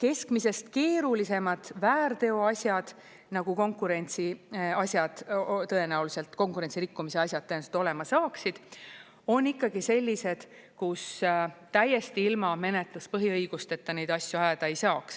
keskmisest keerulisemad väärteoasjad, nagu konkurentsiasjad tõenäoliselt, konkurentsi rikkumise asjad tõenäoliselt olema saaksid, on ikkagi sellised, kus täiesti ilma menetluspõhiõigusteta neid asju ajada ei saaks.